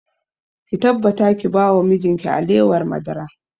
Ki tabbata ki ba wa mijin ki alewar madara!